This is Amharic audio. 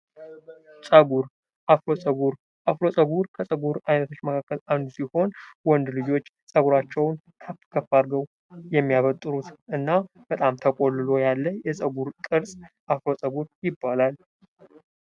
ፀጉር አፍሮ ፀጉር፤ አፍሮ ፀጉር ከፀጉር ዓይነቶች መካከል አንዱ ሲሆን ወንድ ልጆች ጸጉራቸውን ከፍ ከፍ አድርገው የሚያበጥሩትና በጣም ተቆልሎ ያለ የፀጉር ቅርጽ አፍሮ ፀጉር ይባላል።